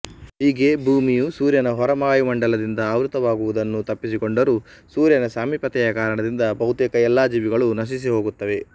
ಹೀಗೆ ಭೂಮಿಯು ಸೂರ್ಯನ ಹೊರ ವಾಯುಮಂಡಲದಿಂದ ಆವೃತವಾಗುವುದನ್ನು ತಪ್ಪಿಸಿಕೊಂಡರೂ ಸೂರ್ಯನ ಸಾಮೀಪ್ಯತೆಯ ಕಾರಣದಿಂದ ಬಹುತೇಕ ಎಲ್ಲಾ ಜೀವಿಗಳೂ ನಶಿಸಿಹೋಗುತ್ತವೆ